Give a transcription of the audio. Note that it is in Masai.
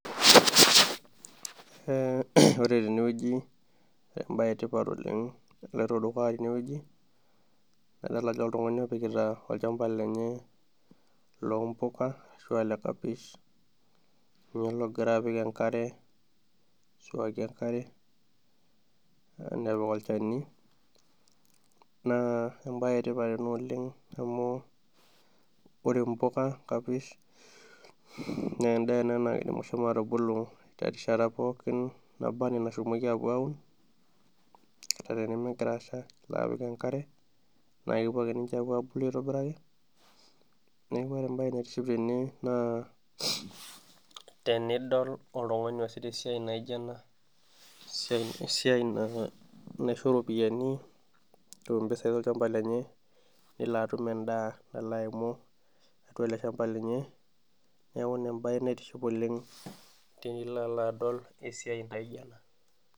Ore tene wueji ebae etipat, oleng naloito dukuya teine wueji, adol ajo oltungani, opikita olchampa lenye loompuka, ashu olekapish, ninye logira apik enkare, aisuaki enkare, napik olchani, naa ebae etipat ena oleng, amu ore mpuka kapish naa edaa ena naidim atagolo erishata pookin, naa anaa enashomoki apuo aun, ata tenimigara asha nilo apik enkare, naakepuo ake ninche apuo abulu aitobiraki, neeku ore ebae, naa tenidol oltungani oosita esiai naijo ena, esiai naisho iropiyiani netum mpisai olchampa lenye. Nelo atum edaa elo aimu atua ele shampa lenye, neeku Ina ebae naitiship oleng tenilo alo adol esiai, naijo ena.